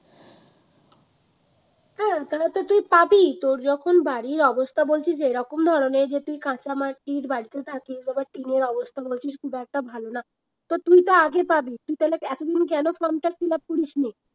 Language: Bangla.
হ্যাঁ তবে তো তুই পাবিই তোর যখন বাড়ির অবস্থা বলছিস এরকম ধরনের যে তুই কাঁচা মাটির বাড়িতে থাকিস এবার টিনের অবস্থা বলছিস খুব একটা ভালো না তো তুই তো আগে পাবি তুই তালে এতদিন কেন form টা fill up করিস নি?